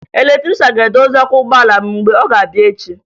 Eletrịshan ga-edozi ọkụ ụgbọala m mgbe ọ ga-abịa echi